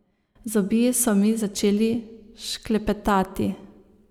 Zobje so mi začeli šklepetati.